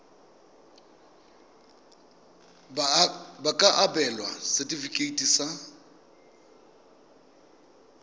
ba ka abelwa setefikeiti sa